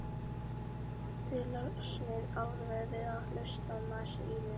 Þið losnið alveg við að hlusta á masið í mér.